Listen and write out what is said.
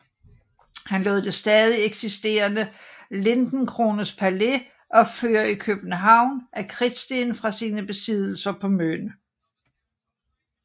Han lod det stadig eksisterende Lindencrones Palæ opføre i København af kridtsten fra sine besiddelser på Møn